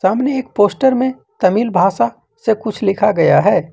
सामने एक पोस्टर में तमिल भाषा से कुछ लिखा गया है।